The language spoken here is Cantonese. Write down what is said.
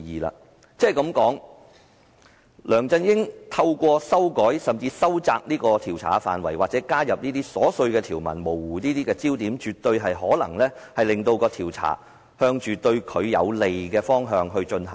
梁振英想透過修改，修窄調查範圍或加入瑣碎條文以模糊焦點，絕對有可能令調查朝着對他有利的方向進行。